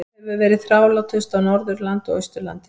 Veikin hefur verið þrálátust á Norðurlandi og Austurlandi.